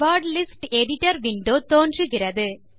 word list editor window தோன்றுகிறது